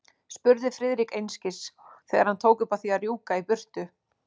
Spurði Friðrik einskis, þegar hann tók upp á því að rjúka í burtu.